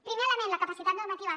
primer element la capacitat normativa